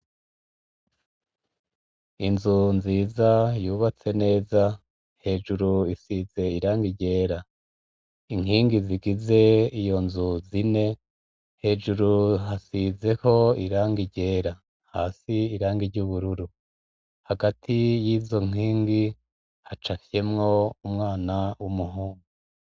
Inzu nziza yubatse neza hejuru isize iranga iryera inkingi zigize iyo nzu zine hejuru hasizeho iranga iryera hasi irange ry'ubururu hagati y'izo nkingi hacae fyemwo umwana w'umuhugu.